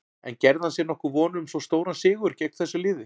En gerði hann sér nokkuð vonir um svo stóran sigur gegn þessu liði?